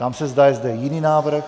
Ptám se, zda je zde jiný návrh.